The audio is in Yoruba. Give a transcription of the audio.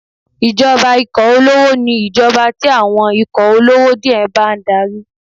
Ìjọba ikọ̀ olówó ni ìjọba tí àwọn ikọ̀ olówó díẹ̀ bá ń darí.